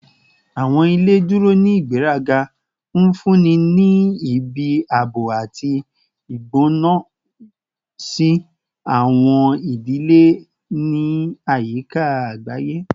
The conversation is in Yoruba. Awọn ile duro ni igberaga, nfunni ni ibi aabo ati igbona si awọn idile ni ayika agbaye